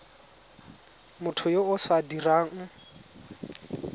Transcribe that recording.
motho yo o sa dirang